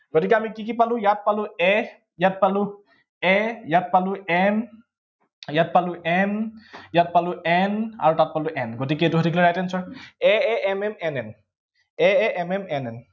গতিকে আমি কি কি পালো, ইয়াত পালো a ইয়াত পালো a ইয়াত পালো m ইয়াত পালো m ইয়াত পালো n আৰু তাত পালো n গতিকে এইটো হৈ থাকিলে right anser, a a m m n n a a m m n n